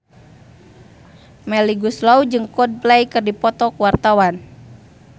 Melly Goeslaw jeung Coldplay keur dipoto ku wartawan